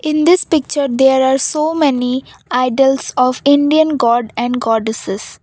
in this picture there are so many idols of indian god and goddesses.